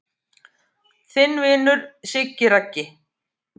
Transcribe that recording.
Þinn vinur Siggi Raggi